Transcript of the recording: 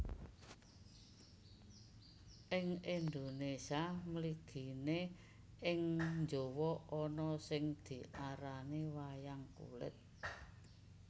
Ing Indonesia mligine ing Jawa ana sing diarani Wayang Kulit